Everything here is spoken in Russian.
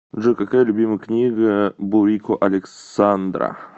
джой какая любимая книга бурико александра